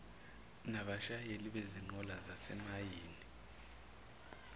nabashayeli bezinqola zasemayini